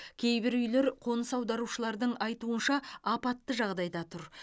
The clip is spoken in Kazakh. кейбір үйлер қоныс аударушылардың айтуынша апатты жағдайда тұр